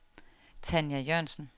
Tanja Jørgensen